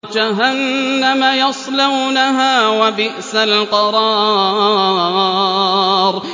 جَهَنَّمَ يَصْلَوْنَهَا ۖ وَبِئْسَ الْقَرَارُ